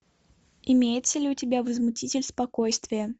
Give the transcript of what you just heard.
имеется ли у тебя возмутитель спокойствия